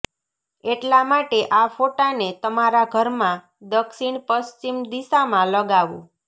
એટલા માટે આ ફોટાને તમારા ઘરમાં દક્ષીણ પશ્વિમ દિશમાં લગાવો